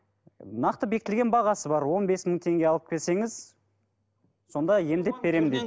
нақты бекітілген бағасы бар он бес мың теңге алып келсеңіз сонда емдеп беремін дейді